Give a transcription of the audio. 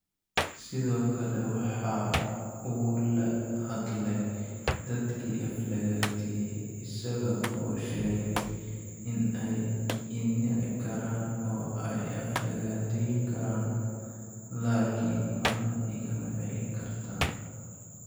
Sidoo kale waxa uu la hadlay dadkii aflagaadeeyay isaga oo sheegay in ay i nici karaan oo ay i aflagaadeyn karaan, laakin marna igama celin kartaan.